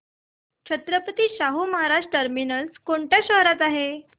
Chhatrapati Shahu Maharaj terminus कोणत्या शहरात आहे